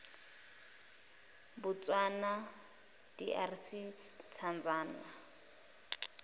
botswana drc tanzania